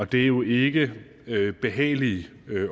det er jo ikke behagelige